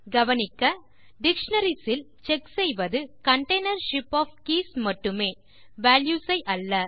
கவனிக்க டிக்ஷனரிஸ் இல் செக் செய்வது container ஷிப் ஒஃப் கீஸ் மட்டுமே வால்யூஸ் ஐ அல்ல